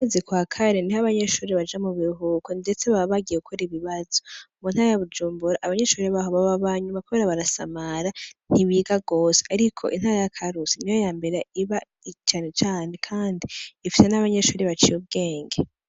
Mu kwezi kwa kane niho abanyeshure baja mu buruhuko ndetse baba bagiye gukora ibibazo, mu ntara ya Bujumbura abanyeshure baho baba banyuma kubera barasamara ntibiga gose, ariko intara ya Karusi niyo yambere iba canecane kandi ifise n'abanyeshure baciye ubwenge.